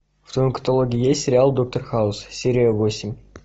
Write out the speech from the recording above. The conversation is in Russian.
в твоем каталоге есть сериал доктор хаус серия восемь